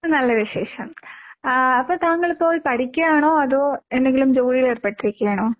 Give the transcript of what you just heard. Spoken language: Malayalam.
നല്ല വിശേഷം. ആഹ് അപ്പോൾ താങ്കളിപ്പോൾ പഠിക്കാണോ അതോ എന്തെങ്കിലും ജോലീലേർപ്പെട്ടിരിക്കാണോ?